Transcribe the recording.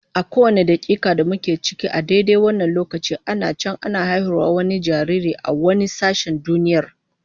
A kowane dakika da muke ciki a daidai wannan lokacin ana can ana haihuwar wani jaririn a wani sashen duniyar.